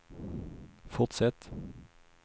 fortsätt